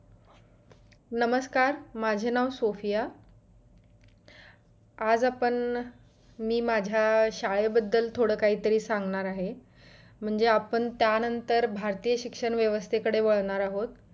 नमस्कार माझे नाव सुफिया आज आपण मी माझ्या शाळेबद्दल थोड काही तरी सांगणार आहे म्हणजे आपणं त्या नंतर भारतीय शिक्षण व्यवस्थेकडे वळणार आहोत